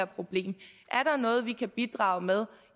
problem er der noget vi kan bidrage med